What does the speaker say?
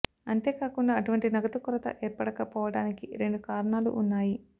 అంతేకాకుండా అటువంటి నగదు కొరత ఏర్పడక పోవడానికి రెండు కారణాలు వున్నాయి